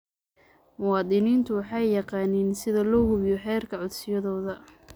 Muwaadiniintu waxay yaqaaniin sida loo hubiyo heerka codsiyadooda.